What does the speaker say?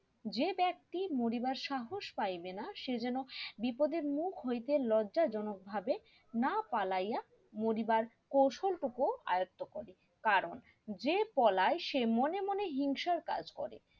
যে ব্যক্তি মরিবার সাহস পাইবেনা সে যেন বিপদের মুখ হইতে লজ্জাজনক ভাবে না পালাইয়া মরিবার কৌশল টুকু আয়োক্ত করে কারণ যে পলাই সে মনে মনে হিংসার কাজ করে